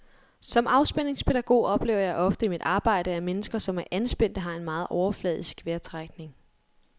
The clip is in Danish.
Som afspændingspædagog oplever jeg ofte i mit arbejde, at mennesker som er anspændte har en meget overfladisk vejrtrækning.